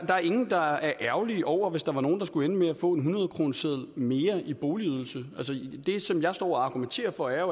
der er ingen der er ærgerlige over hvis der er nogle der skulle ende med at få en hundredkroneseddel mere i boligydelse det som jeg står og argumenterer for er